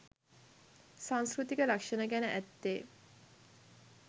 සංස්කෘතික ලක්‍ෂණ ගැන ඇත්තේ